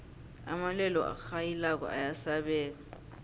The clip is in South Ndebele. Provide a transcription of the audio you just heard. amalwelwe arhayilako ayasabeka